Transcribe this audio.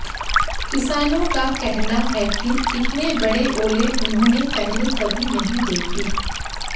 किसानों का कहना है कि इतने बड़े ओले उन्होंने पहले कभी नहीं देखे